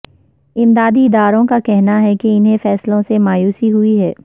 امدادی اداروں کا کہنا ہے کہ انہیں فیصلوں سے مایوسی ہوئی ہے